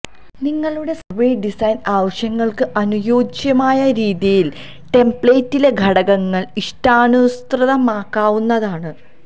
നിങ്ങളുടെ survey design ആവശ്യങ്ങൾക്ക് അനുയോജ്യമായ രീതിയിൽ ടെംപ്ലേറ്റിലെ ഘടകങ്ങൾ ഇഷ്ടാനുസൃതമാക്കാവുന്നതാണ്